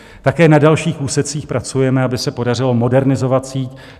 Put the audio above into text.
Také na dalších úsecích pracujeme, aby se podařilo modernizovat síť.